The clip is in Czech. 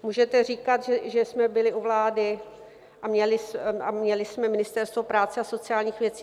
Můžete říkat, že jsme byli u vlády a měli jsme Ministerstvo práce a sociálních věcí.